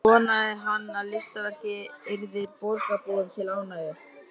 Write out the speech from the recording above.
Vonaði hann að listaverkið yrði borgarbúum til ánægju.